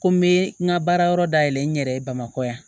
Ko n be n ka baarayɔrɔ dayɛlɛ n yɛrɛ ye bamakɔ yan